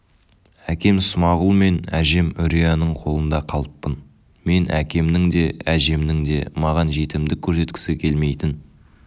әкем смағұл мен әжем үрияның қолында қалыппын мен әкемнің де әжемнің де маған жетімдік көрсеткісі келмейтін